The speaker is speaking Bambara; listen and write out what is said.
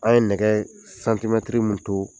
An ye nɛgɛ santimɛtiri mun to